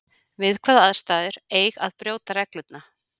Við hvaða aðstæður eig að brjóta regluna?